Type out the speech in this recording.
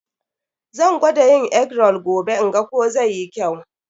Zan gwada yin egg roll gobe in ga ko zai yi kyau.